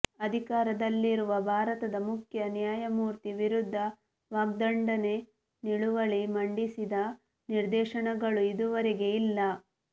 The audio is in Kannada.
ಅಧಿಕಾರದಲ್ಲಿರುವ ಭಾರತದ ಮುಖ್ಯ ನ್ಯಾಯಮೂರ್ತಿ ವಿರುದ್ಧ ವಾಗ್ದಂಡನೆ ನಿಲುವಳಿ ಮಂಡಿಸಿದ ನಿದರ್ಶನಗಳು ಇದುವರೆಗೆ ಇಲ್ಲ